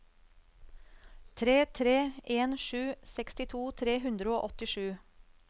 tre tre en sju sekstito tre hundre og åttisju